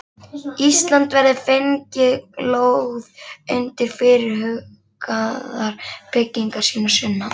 Íslands verði fengin lóð undir fyrirhugaðar byggingar sínar sunnan